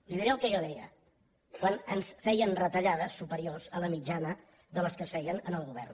li diré el que jo deia quan ens feien retallades superiors a la mitjana de les que es feien en el govern